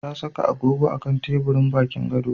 Ta saka agogo a kan teburin bakin gado.